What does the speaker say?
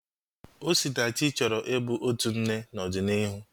Osinachi chọrọ i bụ otu nne n'ọdịnihu